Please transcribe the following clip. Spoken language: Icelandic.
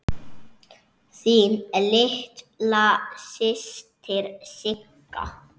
Þín litla systir Sigga.